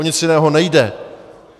O nic jiného nejde.